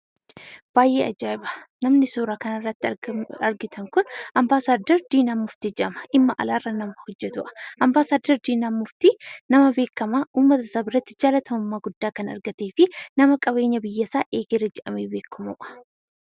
Baay'ee ajaa'iba! Namni suuraa kanarratti argitan kun Ambaasadder Diinaa Muuftii jedhama. Dhimma Alaa irra nama hojjetudha. Ambaasadder Diinaa Muuftii, nama beekamaa uummatasaa biratti jaalatamummaa guddaa kan argatee fi nama qabeenya biyyasaa eegeera jedhamee beekamudha.